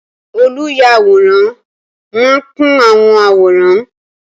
Oluyaworan maa n kun awọn aworan